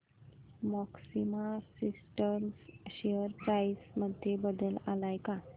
maxima systems share price मध्ये बदल आलाय का